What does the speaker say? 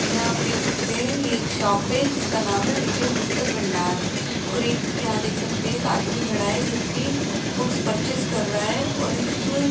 यहां आप देख सकते हैं ये एक शॉप है जिसका नाम है विजय पुस्तक भंडार और एक यहां देख सकते हैं एक आदमी खड़ा है जो कि बुक्स परचेज कर रहा है और इस --